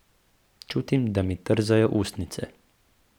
Čutim, da mi trzajo ustnice.